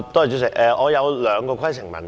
主席，我有兩項規程問題。